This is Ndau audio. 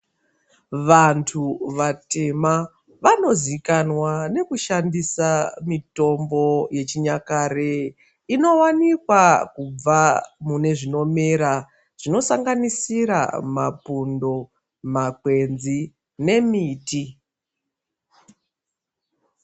Vantu vatema vanozivikanwa nekushandisa mitombo yechinyakare inowanikwa kubva mune zvinomera zvinosanganisira mapundo makwenzi nemiti.